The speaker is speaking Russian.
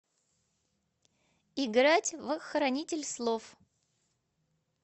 играть в хранитель слов